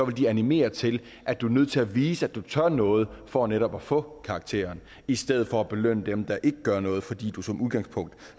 det animere til at du er nødt til at vise at du tør noget for netop at få karakteren i stedet for at vi belønner dem der ikke gør noget fordi du som udgangspunkt